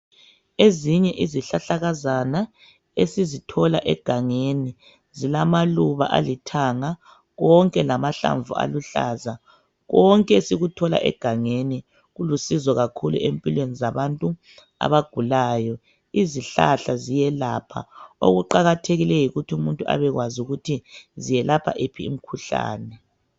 Ezinye izihlahlakazana esizithola egangeni zilamaluba alithanga konke lamahlamvu aluhlaza. Konke sikuthola egangeni kulusizo kakhulu empilweni zabantu abagulayo. Izihlahla ziyelapha. Okuqakathekileyo yikuthumuntu abekwazi ukuthi ziyelapha iphi imkhuhlane.